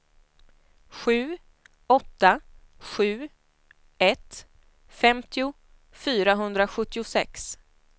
sju åtta sju ett femtio fyrahundrasjuttiosex